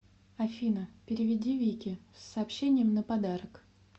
афина переведи вике с сообщением на подарок